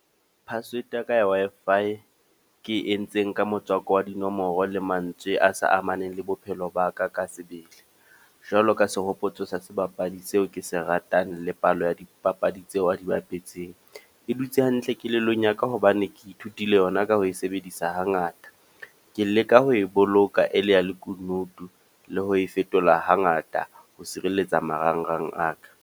Password ya ka ya Wi-Fi, ke entseng ka motswako wa dinomoro le mantswe a sa amaneng le bophelo ba ka ka sebele. Jwalo ka sehopotso sa sebapadi seo ke se ratang le palo ya dipapadi tseo a di bapetseng. E dutse hantle kelellong ya ka hobane ke ithutile yona ka ho e sebedisa ha ngata. Ke leka ho e boloka e le ya lekunutu le ho e fetola ha ngata ho sireletsa marangrang a ka.